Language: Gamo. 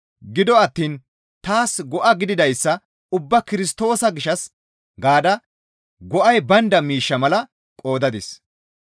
Gido attiin taas go7a gididayssa ubbaa Kirstoosa gishshas gaada go7ay baynda miishsha mala qoodadis.